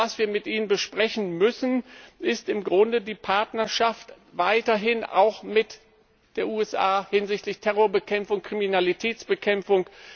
Das, was wir mit ihnen besprechen müssen, ist im Grunde die Partnerschaft mit den USA hinsichtlich Terrorbekämpfung, Kriminalitätsbekämpfung.